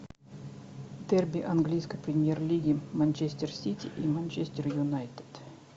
дерби английской премьер лиги манчестер сити и манчестер юнайтед